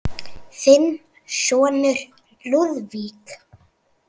Þinn sonur, Lúðvík.